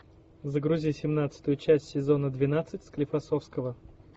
загрузи семнадцатую часть сезона двенадцать склифосовского